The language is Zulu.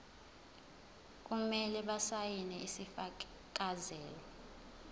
kumele basayine isifakazelo